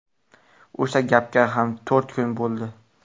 O‘sha gapga ham to‘rt kun bo‘ldi.